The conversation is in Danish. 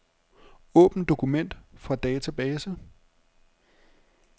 Åbn dokument fra database.